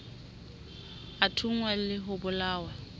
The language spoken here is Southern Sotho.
a thunngwa le ho bolawa